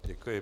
Děkuji.